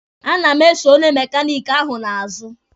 A na m eso onye mekaniki ahụ n'azụ.